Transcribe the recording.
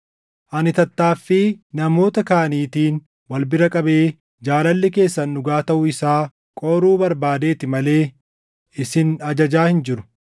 Ani tattaaffii namoota kaaniitiin wal bira qabee jaalalli keessan dhugaa taʼuu isaa qoruu barbaadeeti malee isin ajajaa hin jiru.